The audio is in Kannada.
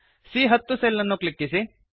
ಸಿಎ10 ಸೆಲ್ ಅನ್ನು ಕ್ಲಿಕ್ಕಿಸಿ